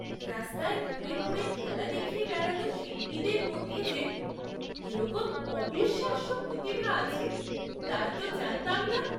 রাস্তায় ঘুরে ঘুরে খেলা দেখিয়ে বেড়ানো শিল্পীদের মধ্যে যে এরকম অবিশ্বাস্য প্রতিভা আছে তা তো জানতাম না